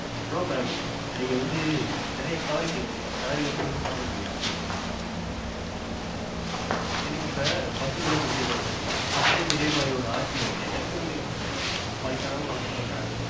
no mam. நீங்க வந்து. நிறையா sorry கேக்குறீங்க. sorry வச்சு ஒன்னும் பண்ண முடியாது okay ங்களா. எனக்கு இப்ப பசி கூட முக்கியமா தெரியல. next time இதே மாரி ஒன்னு ஆச்சுன்னு வைங்களேன் எனக்கு விடுங்க. வயசானவங்க order பன்றாங்க.